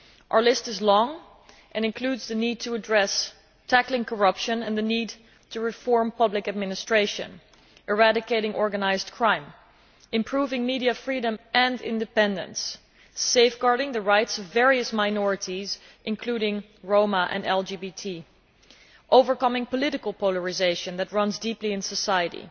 Our list is long and includes the need to address tackling corruption and the need to reform public administration, eradicating organised crime, improving media freedom and independence, safeguarding the rights of various minorities, including Roma and LGBT, overcoming the political polarisation that runs deeply through society,